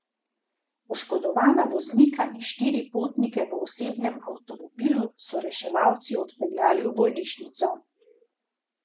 Poškodovana voznika in štiri potnike v osebnem avtomobilu so reševalci odpeljali v bolnišnico.